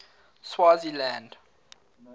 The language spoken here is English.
swaziland